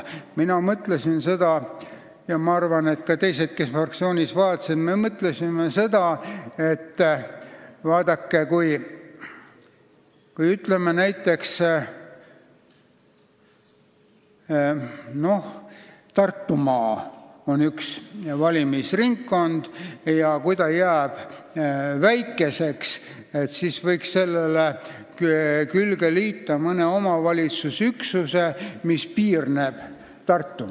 Mina mõtlesin seda, ja ma arvan, et ka teised, kes meil seda asja fraktsioonis vaatasid, mõtlesid seda, et näiteks Tartumaa on ju üks valimisringkond ja kui ta jääb väikeseks, siis võiks sellele külge liita mõne omavalitsusüksuse, mis Tartumaaga piirneb.